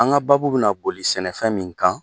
An ka baabu bɛna boli sɛnɛfɛn min kan